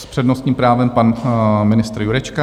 S přednostním právem pan ministr Jurečka.